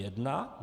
Jedna?